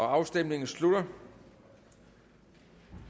afstemningen slutter